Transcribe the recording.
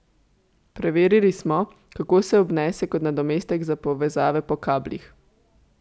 Preverili smo, kako se obnese kot nadomestek za povezave po kablih.